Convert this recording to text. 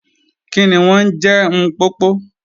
Kíni wọn n je M̀popo?